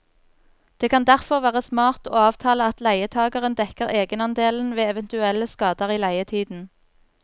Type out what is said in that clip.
Det kan derfor være smart å avtale at leietageren dekker egenandelen ved eventuelle skader i leietiden.